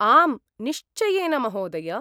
आम्, निश्चयेन महोदय!